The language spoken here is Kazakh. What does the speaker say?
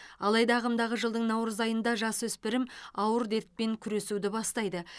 алайда ағымдағы жылдың наурыз айында жасөспірім ауыр дертпен күресуді бастайды